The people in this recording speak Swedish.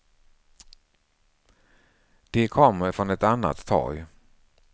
De kommer från ett annat torg.